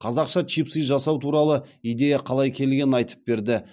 қазақша чипсы жасау туралы идея қалай келгенін айтып берді